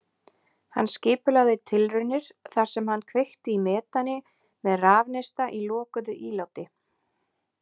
Hann skipulagði tilraunir þar sem hann kveikti í metani með rafneista í lokuðu íláti.